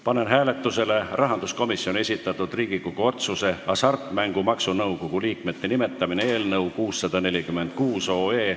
Panen hääletusele rahanduskomisjoni esitatud Riigikogu otsuse "Hasartmängumaksu Nõukogu liikmete nimetamine" eelnõu 646.